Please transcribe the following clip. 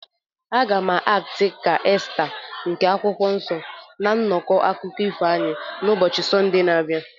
Aga m akti ka Esta nke akwụkwọ nsọ na nnọkọ akụkọ ifo anyị n'ubochi Sọnde na-abịa.